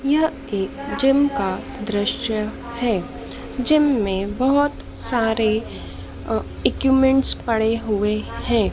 यह एक जिम का दृश्य है जिम में बहोत सारे अ इक्विपमेंट पड़े हुए हैं।